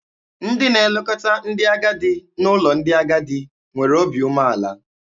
Ndị na-elekọta ndị agadi n'ụlọ ndị agadi nwere obi umeala.